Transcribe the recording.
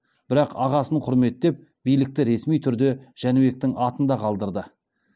бірақ ағасын құрметтеп билікті ресми түрде жәнібектің атында қалдырды